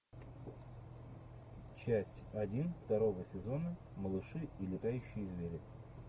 часть один второго сезона малыши и летающие звери